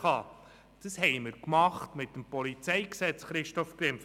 Dies haben wir mit dem PolG geregelt, Christoph Grimm!